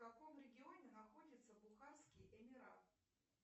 в каком регионе находится бухарский эмират